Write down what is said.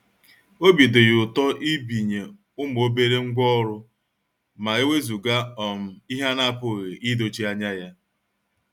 Obi dị ya ụtọ ibinye ụmụ obere ngwá ọrụ ma ewezuga um ihe a na-apụghị idochie anya ya.